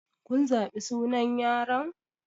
Kun zaɓi sunan yaron?